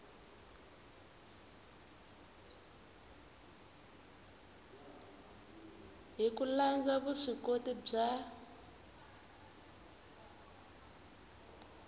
hi ku landza vuswikoti bya